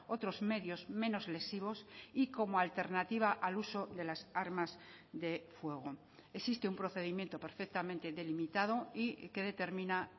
otros medios menos lesivos y como alternativa al uso de las armas de fuego existe un procedimiento perfectamente delimitado y que determina